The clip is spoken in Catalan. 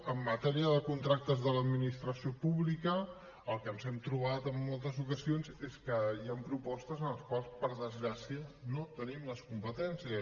en matèria de contractes de l’administració pública el que ens hem trobat en moltes ocasions és que hi han propostes en les quals per desgràcia no tenim les competències